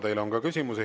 Teile on ka küsimusi.